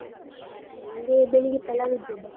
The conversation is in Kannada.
ನಂಗೆ ಬೆಳಿಗ್ಗೆ ಪಲಾವ್ ಇದ್ದದ್ದಾ.